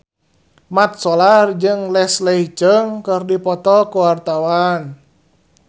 Mat Solar jeung Leslie Cheung keur dipoto ku wartawan